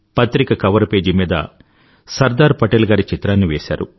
పత్రిక cover page మీద సర్దార్ పటేల్ గారి చిత్రాన్ని వేశారు